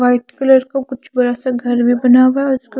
white colour का कुछ बड़ा सा घर में बना हुआ है उसका --